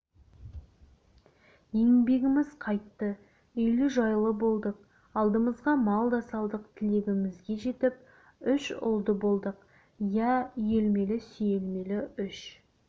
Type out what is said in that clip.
еңбегіміз қайтты үйлі-жайлы болдық алдымызға мал да салдық тілегімізге жетіп үш ұлды болдық иә үйелмелі-сүйелмелі үш